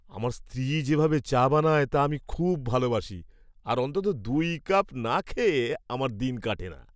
আমার স্ত্রী যেভাবে চা বানায় তা আমি খুব ভালবাসি, আর অন্তত দুই কাপ না খেয়ে আমার দিন কাটে না।